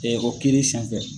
Ɔ o kiri san fɛ.